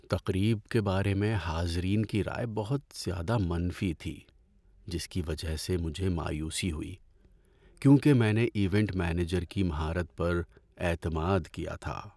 تقریب کے بارے میں حاضرین کی رائے بہت زیادہ منفی تھی، جس کی وجہ سے مجھے مایوسی ہوئی کیونکہ میں نے ایونٹ مینیجر کی مہارت پر اعتماد کیا تھا۔